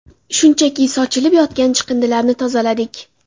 Shunchaki sochilib yotgan chiqindilarni tozaladik.